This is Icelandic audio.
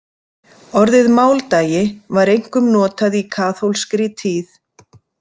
Orðið „máldagi“ var einkum notað í kaþólskri tíð.